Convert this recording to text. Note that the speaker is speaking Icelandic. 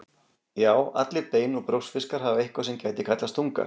Já, allir bein- og brjóskfiskar hafa eitthvað sem gæti kallast tunga.